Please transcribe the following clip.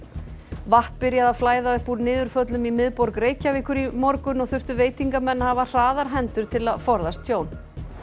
vatn byrjaði að flæða upp úr niðurföllum í miðborg Reykjavíkur í morgun og þurftu veitingamenn að hafa hraðar hendur til að forðast tjón